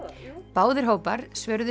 báðir hópar svöruðu